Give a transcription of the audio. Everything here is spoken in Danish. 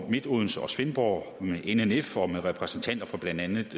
odense og svendborg kommuner nnf og repræsentanter for blandt andet